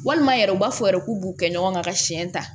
Walima yɛrɛ u b'a fɔ yɛrɛ k'u b'u kɛ ɲɔgɔn kan ka siyɛn ta